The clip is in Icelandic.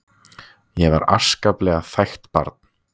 Ég var afskaplega þægt barn.